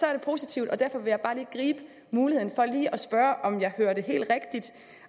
er det positivt og derfor vil jeg bare gribe muligheden for lige at spørge om jeg hørte helt rigtigt